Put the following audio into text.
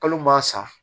Kalo ma sa